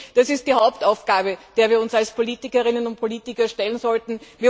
Das ist die Hauptaufgabe, der wir uns als Politikerinnen und Politiker stellen sollten.